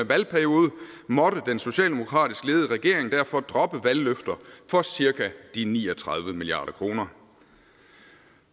valgperiode måtte den socialdemokratisk ledede regering derfor droppe valgløfter for cirka de ni og tredive milliard kroner